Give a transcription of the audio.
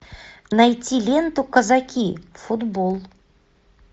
найти ленту казаки футбол